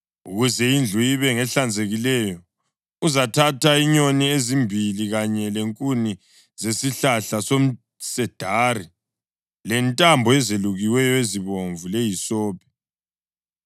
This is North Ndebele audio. Ukuze indlu ibe ngehlanzekileyo, uzathatha inyoni ezimbili kanye lenkuni zesihlahla somsedari, lentambo ezelukiweyo ezibomvu lehisophi.